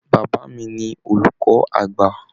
Bàbá mí ní olùkọ àgbà.